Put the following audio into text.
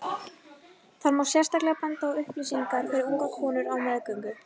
þar má sérstaklega benda á upplýsingar fyrir ungar konur á meðgöngu